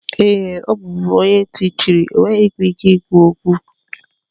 Ee, ọ bụbu onye ntị chiri, ọ nweghịkwa ike ikwu okwu.